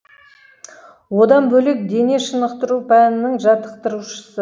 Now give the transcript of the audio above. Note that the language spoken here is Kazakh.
одан бөлек дене шынықтыру пәнінің жаттықтырушысы